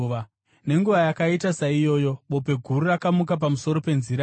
Nenguva yakaita saiyoyo bope guru rakamuka pamusoro peNzira iyi.